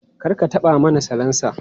Kar ka taɓa mani salansa!